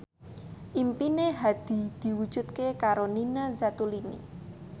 impine Hadi diwujudke karo Nina Zatulini